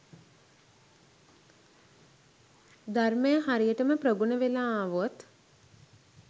ධර්මය හරියටම ප්‍රගුණ වෙලා ආවොත්